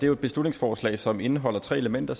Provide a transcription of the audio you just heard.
jo et beslutningsforslag som indeholder tre elementer